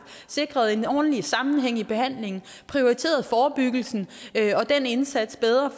sikret en ordentlig sammenhæng i behandlingen prioriteret forebyggelsen og den indsats bedre